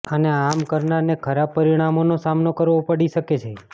અને આમ કરનારને ખરાબ પરિણામોનો સામનો કરવો પડી શકે છે